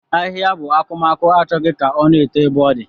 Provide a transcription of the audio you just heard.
Ahihia bu akumaku Achọghị ka o na-eto na ebe o di.